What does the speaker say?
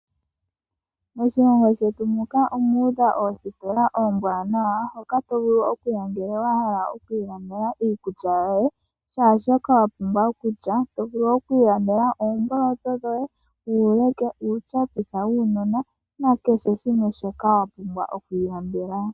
Moshilongo shetu muka omu udha oositola oombwanawa hoka tovulu okuya ngele wahala oku ilande iikulya yoye kehe shoka wapumbwa. Otovulu oku ilandela Uuleke ,oomboloto, uutyepisa wuunona nakehe shimwe shoka wapumbwa oku ilandela